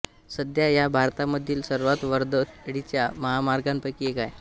सध्या हा भारतामधील सर्वात वर्दळीच्या महामार्गांपैकी एक आहे